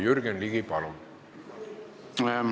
Jürgen Ligi, palun!